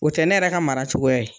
O tɛ ne yɛrɛ ka mara cogoya ye.